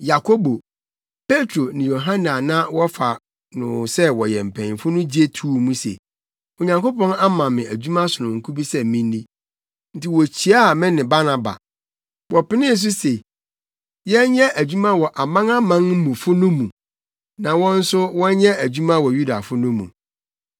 Yakobo, Petro ne Yohane a na wɔfa no sɛ wɔyɛ mpanyimfo no gye too mu se, Onyankopɔn ama me adwuma sononko bi sɛ minni, enti wokyiaa me ne Barnaba. Wɔpenee so se yɛnyɛ adwuma wɔ amanamanmufo no mu na wɔn nso wɔnyɛ adwuma wɔ Yudafo no mu.